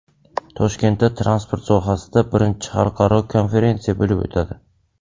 Toshkentda transport sohasida birinchi xalqaro konferensiya bo‘lib o‘tadi.